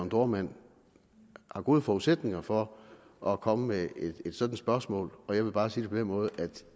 dohrmann har gode forudsætninger for at komme med et sådant spørgsmål og jeg vil bare sige det på den måde at